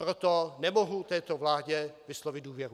Proto nemohu této vládě vyslovit důvěru.